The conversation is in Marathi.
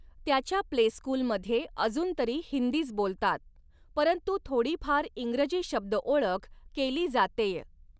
त्याच्या प्लेस्कूलमध्ये अजूनतरी हिंदीच बोलतात, परंतू थोडीफार इंग्रजी शब्दओळख केली जातेय.